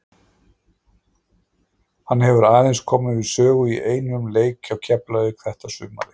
Hann hefur aðeins komið við sögu í einum leik hjá Keflavík þetta sumarið.